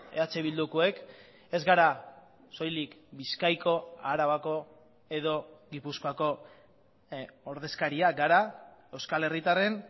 eh bildukoek ez gara soilik bizkaiko arabako edo gipuzkoako ordezkariak gara euskal herritarren